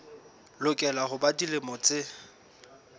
lokela ho ba dilemo tse